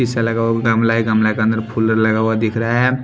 इस सा लगा हुआ गमला है गमला के अंदर फोल्डर लगा हुआ दिख रहा है।